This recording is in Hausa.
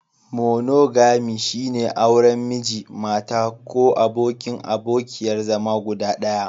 Monogami, shine auren Miji/Mata ko abokin/abokiyar zama guda ɗaya.